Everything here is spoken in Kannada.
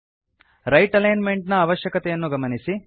ರೈಟ್ ಅಲೈನ್ ಮೆಂಟ್ ನ ಅವಶ್ಯಕತೆಯನ್ನು ಗಮನಿಸಿ